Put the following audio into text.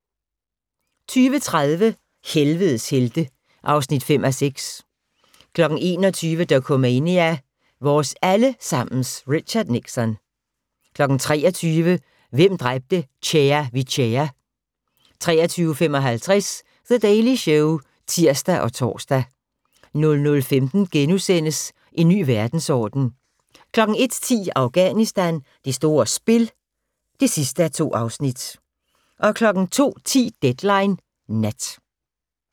20:30: Helvedes helte (5:6) 21:00: Dokumania: Vores alle sammens Richard Nixon 23:00: Hvem dræbte Chea Vichea? 23:55: The Daily Show (tir og tor) 00:15: En ny verdensorden * 01:10: Afghanistan: Det store spil (2:2) 02:10: Deadline Nat